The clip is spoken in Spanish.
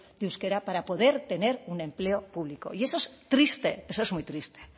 de euskera para poder tener un empleo público y eso es triste eso es muy triste